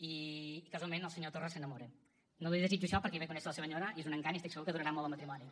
i casualment el senyor torra s’enamora no li desitjo això perquè ahir vaig conèixer la seva senyora i és un encant i estic segur que durarà molt el matrimoni